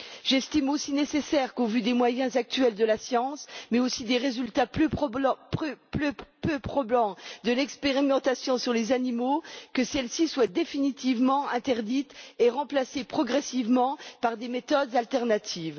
J'estime aussi qu'il est nécessaire, au vu des moyens actuels de la science, mais aussi des résultats peu probants de l'expérimentation sur les animaux, que celle ci soit définitivement interdite et remplacée progressivement par des méthodes alternatives.